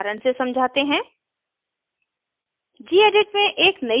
इसको एक उदाहरण से समझाते हैं